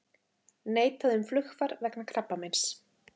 Neitað um flugfar vegna krabbameins